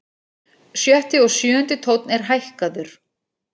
Sjötti og sjöundi tónn er hækkaður.